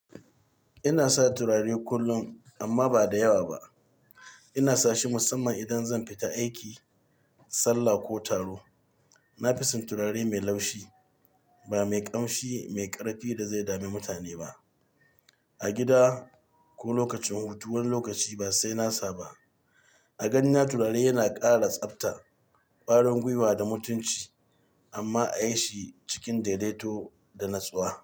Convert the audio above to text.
Ina sa turare kullum amma ba da yawa ba. Ina sa shi musamman idan zan fita aiki, sallah ko taro. Na fi son turare mai laushi, ba mai ƙamshi mai ƙarfi da zai dame mutane ba. A gida ko lokacin hutu wani lokaci ba sai na sa ba. A ganina turare yana ƙara tsafta ƙwarin gwiwa da mutunci amma a yi shi cikin daidaito da natsuwa.